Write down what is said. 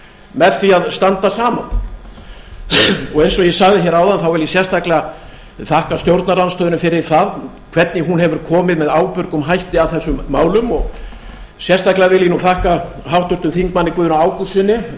með því að standa saman eins og ég sagði hér áðan vil ég sérstaklega þakka stjórnarandstöðunni fyrir það hvernig hún hefur komið með ábyrgum hætti að þessum málum sérstaklega vil ég þakka háttvirtum þingmanni guðna ágústssyni